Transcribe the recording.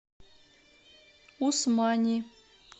усмани